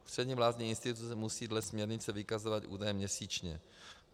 Ústřední vládní instituce musí dle směrnice vykazovat údaje měsíčně.